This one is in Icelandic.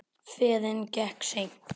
Ferðin gekk seint.